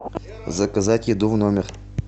заказать еду в номер